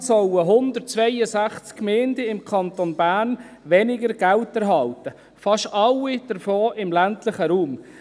Insgesamt sollen 162 Gemeinden im Kanton Bern weniger Geld erhalten, fast alle davon im ländlichen Raum.